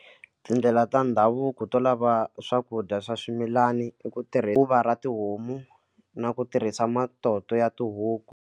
Tindlela ta ndhavuko to lava swakudya swa swimilani i ku tirha tluva ra tihomu na ku tirhisa matoto ya tihuku.